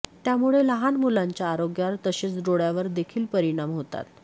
त्यामुळे लहान मुलांच्या आरोग्यावर तसेच डोळ्यावर देखील परिणाम होतात